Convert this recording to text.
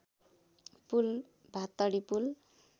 पुल भात्तडी पुल